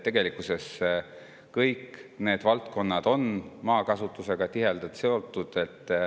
Tegelikkuses on kõik need valdkonnad maakasutusega tihedalt seotud.